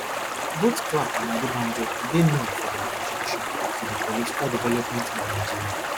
both clark and adebanjo dey known for dia contribution to di political development of nigeria